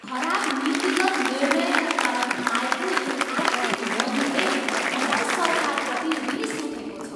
खराब नीतिगत निर्णयका कारण आएको यो आर्थिक मन्दीले मलाई सरकारप्रति रिस उठेको छ।